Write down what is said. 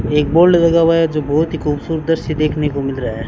एक बोल्ड लगा हुआ है जो बहोत ही खूबसूरत दृश्य देखने को मिल रहा है।